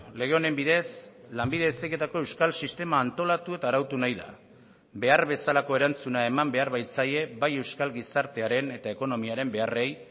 lege honen bidez lanbide heziketako euskal sistema antolatu eta arautu nahi da behar bezalako erantzuna eman behar baitzaie bai euskal gizartearen eta ekonomiaren beharrei